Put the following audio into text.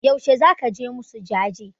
Yaushe zaka je musu jaje?